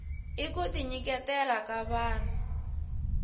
i kuti nyiketela ka vahnu